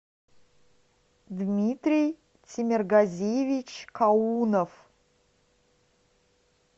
дмитрий темиргазиевич каунов